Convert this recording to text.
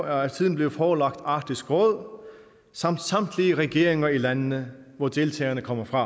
er siden blevet forelagt arktisk råd samt samtlige regeringer i landene hvor deltagerne kommer fra